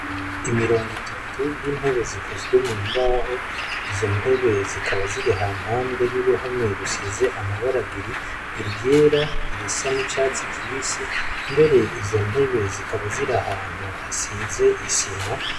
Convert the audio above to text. Imirongo itatu, y'intebe zikozwe mumbaho, izo ntebe zikaba ziri hampande y'uruhome rusize amabara abiri, iryera irisa n'icatsi kibisi mbere zikaba ziri ahantu hasize isima.